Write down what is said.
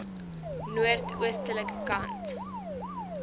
noord oostelike kant